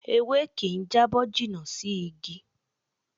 Ewé kì ń jábọ́ jìnnà sí Ígi